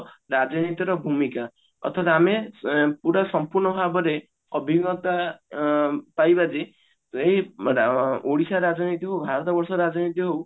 ରାଜନୀତିର ଭୂମିକା ଅ ପୁରା ସମ୍ପୂର୍ଣ ଭାବରେ ଅଭିଜ୍ଞତା ଅ ପାଇବା ଯେ ଏଇ ଅ ଓଡଶ ରାଜନୀତି ହଉ ଭାରତ ବର୍ଷ ରାଜନୀତି ହଉ